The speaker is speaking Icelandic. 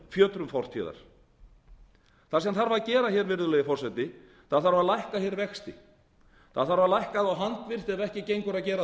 fjötrum fortíðar það sem þarf að gera virðulegi forseti er að lækka vexti það þarf að lækka þá handvirkt ef ekki gengur að gera